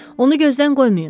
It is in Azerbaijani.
Onu gözdən qoymayın.